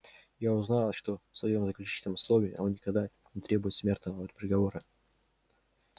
я узнала что в своём заключительном слове он никогда не требует смертного приговора